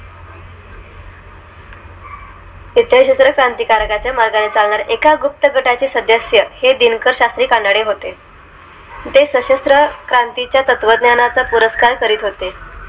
त्या क्रांतिकाराच्या मार्गाने चालणार एका गुप्त गटा ची सदस्य आहे दिनकर शास्त्री कानडे होते ते सशस्त्र क्रांती च्या तत्त्वज्ञाना चा पुरस्कार करीत होते